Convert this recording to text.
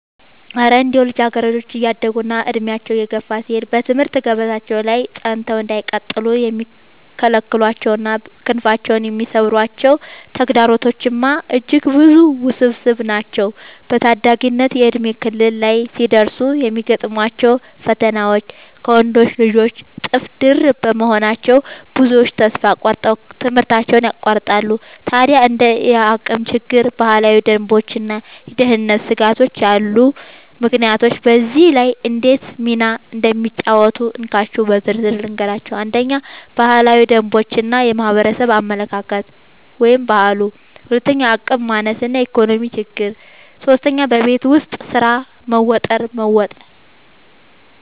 እረ እንደው ልጃገረዶች እያደጉና ዕድሜያቸው እየገፋ ሲሄድ በትምህርት ገበታቸው ላይ ጸንተው እንዳይቀጥሉ የሚከለክሏቸውና ክንፋቸውን የሚሰብሯቸው ተግዳሮቶችማ እጅግ ብዙና ውስብስብ ናቸው! በታዳጊነት የእድሜ ክልል ላይ ሲደርሱ የሚገጥሟቸው ፈተናዎች ከወንዶች ልጆች እጥፍ ድርብ በመሆናቸው፣ ብዙዎቹ ተስፋ ቆርጠው ትምህርታቸውን ያቋርጣሉ። ታዲያ እንደ የአቅም ችግር፣ ባህላዊ ደንቦችና የደህንነት ስጋቶች ያሉ ምክንያቶች በዚህ ላይ እንዴት ሚና እንደሚጫወቱ እንካችሁ በዝርዝር ልንገራችሁ፦ 1. ባህላዊ ደንቦች እና የማህበረሰብ አመለካከት (ባህሉ) 2. የአቅም ማነስ እና የኢኮኖሚ ችግር 3. በቤት ውስጥ ስራ መወጠር መወጠር